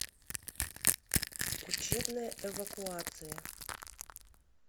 учебная эвакуация